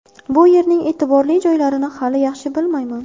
Bu yerning e’tiborli joylarini hali yaxshi bilmayman.